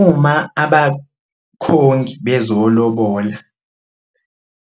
Uma abakhongi bezolobola